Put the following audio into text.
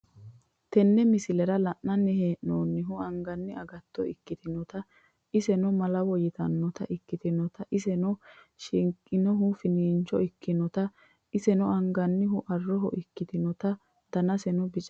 tenne miislera lananni hennomohu anganni agatto ekkitinota esseno malawoo yiinanita ekittana esseno shiiknshannhu fiincho ekkanotana esenno anganhuu arohoo ekkinottana danisinno biicaho